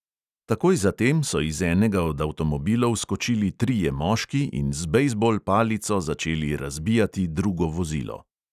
Takoj za tem so iz enega od avtomobilov skočili trije moški in z bejzbol palico začeli razbijati drugo vozilo.